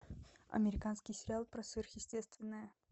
американский сериал про сверхъестественное